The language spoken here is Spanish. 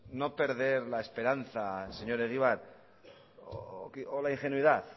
en no perder la esperanza señor egibar o la ingenuidad